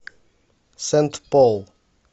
сент пол